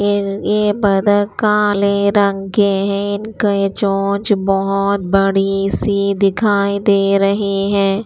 ये ये बतख काले रंग के हैं इनके चोंच बहुत बड़ी सी दिखाई दे रही है।